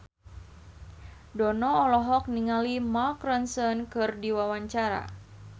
Dono olohok ningali Mark Ronson keur diwawancara